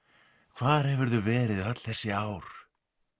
hvar hefurðu verið öll þessi ár